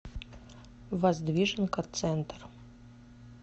воздвиженка центр